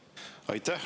Aitäh!